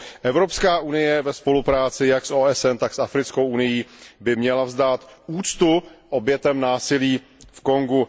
Evropská unie ve spolupráci jak s OSN, tak s Africkou unií by měla vzdát úctu obětem násilí v Kongu.